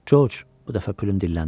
Corc, bu dəfə Plüm dilləndi.